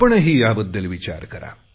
आपणही याबद्दल विचार करा